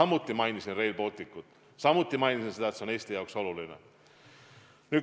Ma märkisin Rail Balticut ja seda, et see on Eesti jaoks oluline.